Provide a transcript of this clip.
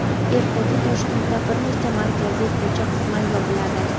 Ertaga Toshkentda bir nechta markaziy ko‘cha qisman yopiladi.